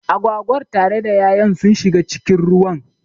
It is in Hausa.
Agwagar tare da ya'yan sun shiga cikin ruwan